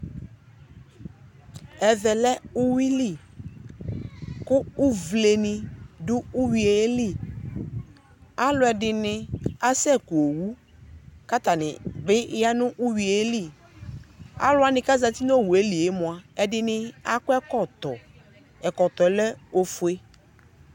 Ɛvɛ lɛ uyui li , kʋ uvlenɩ dʋ uyuie li Alʋɛdɩnɩ asɛku owu k'atanɩ bɩ ya nʋ uyuie li Alʋwanɩ k'azati n'owue lie mʋa , ɛdɩnɩ akɔ ɛkɔtɔ , ɛkɔtɔɛ lɛ ofue